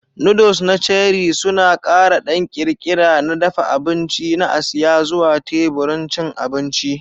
Noodles na Cherie suna ƙara ɗan ƙirƙira na dafa abinci na Asiya zuwa teburin cin abinci.